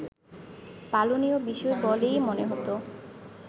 পালনীয় বিষয় বলেই মনে হতো